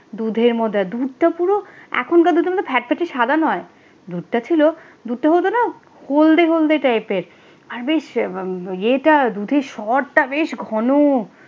দুধের মতো দুধটা পুরো এখনকারের দুধের মতো ফ্যাট ফ্যাট সাদা নয় দুধটা ছিল দুধটা হতো না বলতে হলদে টাইপের আর বেশ এটা দুধের সরটা বেশ ঘন,